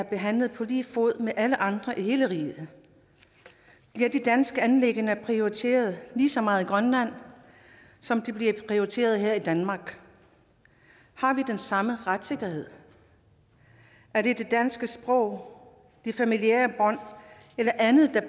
behandlet på lige fod med alle andre i hele riget bliver de danske anliggender prioriteret lige så meget i grønland som de bliver prioriteret her i danmark har vi den samme retssikkerhed er det det danske sprog de familiære bånd eller andet der